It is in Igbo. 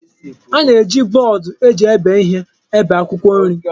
A na-eji bọọdụ eji ebe ihe ebe akwụkwọ nri.